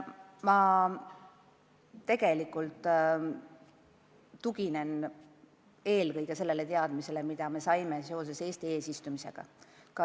Ma tegelikult tuginen eelkõige sellele teadmisele, mis me saime seoses Eesti eesistumisega.